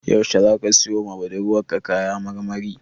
Yaushe zaka siyowa budurwarka kaya marmari?